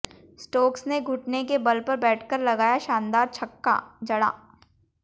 Stokes ने घुटने के बल पर बैठकर लगाया शानदार छक्का जड़ा